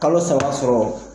Kalo saba sɔrɔ.